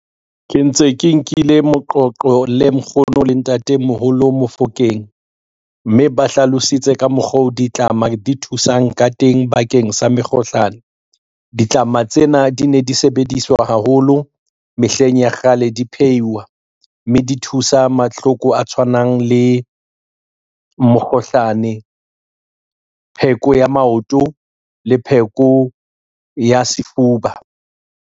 Ke ntse ke nkile moqoqo le nkgono le ntatemoholo Mofokeng, mme ba hlalositse ka mokgwa o ditlama di thusang ka teng bakeng sa mekgohlano. Ditlama tsena di ne di sebediswa haholo mehleng ya kgale, di phehiwa, mme di thusa mahloko a tshwanang le mokgohlane, pheko ya maoto le pheko ya sefuba.